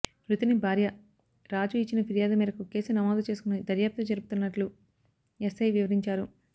మృతుని భార్య రాజు ఇచ్చిన ఫిర్యాదు మేరకు కేసు నమోదు చేసుకొని దర్యాప్తు జరుపుతున్నట్లు ఎస్ఐ వివరించారు